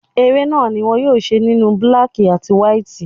Eré náà ni wón yóò ṣe nínú búlákí àti wáítì.